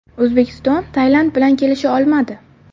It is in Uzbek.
O‘zbekiston Tailand bilan kelisha olmadi.